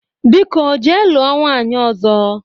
Biko jee lụọ nwanyị ọzọ!